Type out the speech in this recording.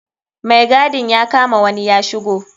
Mai gadin ya kama wani ya shigo.